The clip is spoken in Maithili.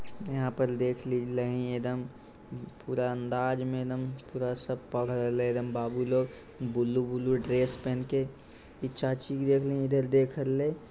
यहां पर देख लही एकदम पूरा अंदाज में एकदम पूरा सब पढ़ रहले एकदम बाबू लोग ब्लू ब्लू ड्रेस पहन के इ चाची के देखलही इने देख रहले।